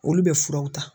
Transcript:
Olu bɛ furaw ta